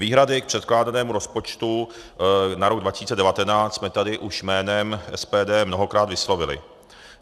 Výhrady k předkládanému rozpočtu na rok 2019 jsme tady už jménem SPD mnohokrát vyslovili.